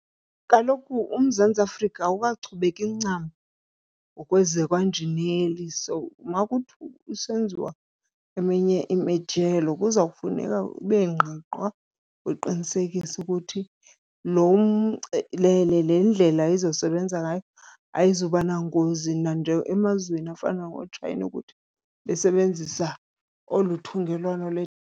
Kaloku uMzantsi Afrika awukachubeki ncam ngokwezakwanjineli, so makuthi kusenziwa eminye imijelo kuza kufuneka kube ngqiqwa kuqinisekise ukuthi le ndlela izosebenza ngayo ayizuba nangozi nanje emazweni afana noChina ukuthi besebenzisa olu thungelwano .